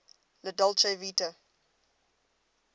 la dolce vita